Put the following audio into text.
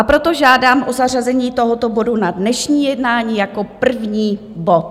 A proto žádám o zařazení tohoto bodu na dnešní jednání jako první bod.